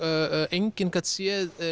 enginn gat séð